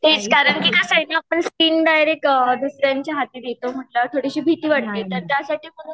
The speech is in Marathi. तेच कारण की साईड नं पण स्किन डायरेक्ट थोडीशी भीती वाटते तर त्यासाठी म्हणून